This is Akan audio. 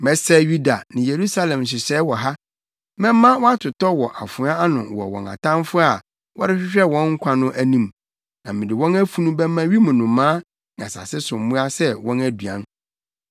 “ ‘Mɛsɛe Yuda ne Yerusalem nhyehyɛe wɔ ha. Mɛma wɔatotɔ wɔ afoa ano wɔ wɔn atamfo a wɔrehwehwɛ wɔn nkwa no anim, na mede wɔn afunu bɛma wim nnomaa ne asase so mmoa sɛ wɔn aduan.